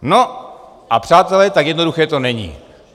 No a přátelé, tak jednoduché to není.